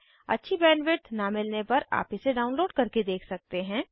अच्छी बैंडविड्थ न मिलने पर आप इसे डाउनलोड करके देख सकते हैं